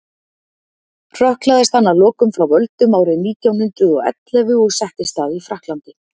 hrökklaðist hann að lokum frá völdum árið nítján hundrað og ellefu og settist að í frakklandi